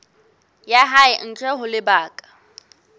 ya hae ntle ho lebaka